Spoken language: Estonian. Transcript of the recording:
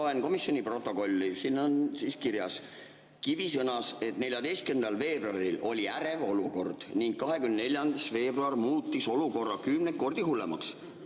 Ma loen komisjoni protokolli, siin on kirjas: "Kivi sõnas, et 14. veebruaril oli ärev olukord ning 24. veebruar muutis olukorra kümneid kordi hullemaks.